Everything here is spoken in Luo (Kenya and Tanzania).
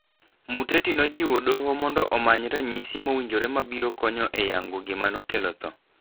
Muteti nojiwo doho mondo omanyo ranyisi mowinjore mabiro konyo e yango gima nokelo tho.